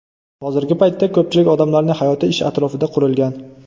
Hozirgi paytda ko‘pchilik odamlarning hayoti ish atrofida qurilgan.